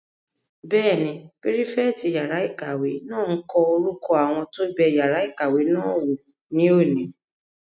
Bẹ́ẹ̀ni, pírífẹ̀tì yàrá-ìkàwé náà n kọ orúkọ àwọn tó bẹ yàrá ìkàwé náà wò ní òní